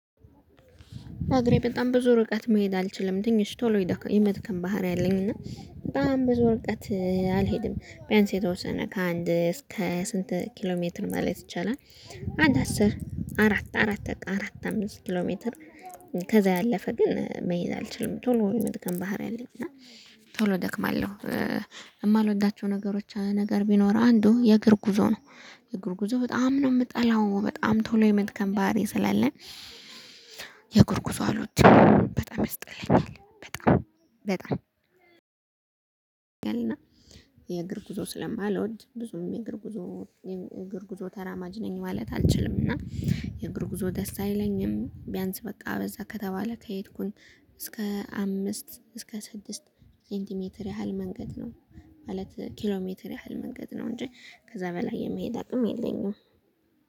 በአግሬ በጣም ብዙ ርቀት መሄድ አልችልም ትንሽ ቶሎ የመድከም ባህሪ አለኝ እና በጣም ብዙ ርቀት አልሄድም ቢያንስ የተወሰነ ከአንድ እስከ ስንት ኪሎ ሜትር ማለት ይቻላል? አንድ አስር አራት አራት በቃ አራት አምስት ኪሎ ሜትር። ከዛ ያለፈ ግን መሄድ አልችልም ቶሎ የመድከም ባህሪ አለኝ እና ቶሎ እደክማለሁ። የማልወዳቸው ነገሮች ነገር ቢኖር አንዱ የእግር ጉዞ ነው። የእግር ጉዞ በጣም ነው የምጠላው በጣም ቶሎ የመድከም ባህሪ ስላለን። የእግር ጉዞ አልወድም በጣም ያስጠላኛል። በጣም በጣም እና የእግር ጉዞ ስለማልወድ ብዙም የእግር ጉዞ እግር ጉዞ ተራማጅ ነኝ ማለት አልችልም። እና የእግር ጉዞ ደስ አይለኝም። ቢያንስ በቃ በዛ ከተባለ ከሄድኩኝ እስከ አምስት እስከ ስድስት ሴንቲሜትር ያህል መንገድ ነው ማለት ኪሎሜትር ያህል መንገድ ነው እንጂ ከዛ በላይ የመሄድ አቅም የለኝም